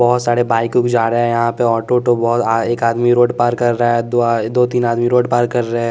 बहुत सारे बाइक ऊक जा रहे हैं यहाँ पे ऑटो उत्डू बहुत एक आदमी रोड पार कर रहा है दो तीन आदमी रोड पार कर रहे हैं।